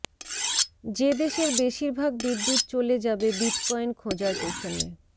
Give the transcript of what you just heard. যে দেশের বেশিরভাগ বিদ্যুৎ চলে যাবে বিটকয়েন খোঁজার পেছনে